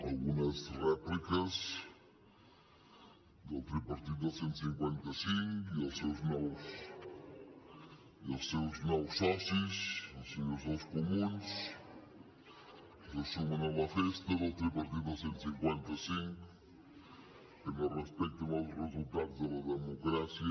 algunes rèpliques del tripartit del cent i cinquanta cinc i els seus nous socis els senyors dels comuns que se sumen a la festa del tripartit del cent i cinquanta cinc que no respecten els resultats de la democràcia